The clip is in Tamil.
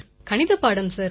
கணிதப்பாடம் சார்